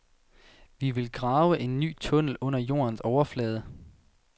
Vi vil grave en ny tunnel under jordens overflade.